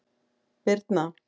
Birna